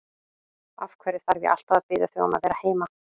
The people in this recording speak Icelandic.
Af hverju þarf ég alltaf að biðja þig um að vera heima?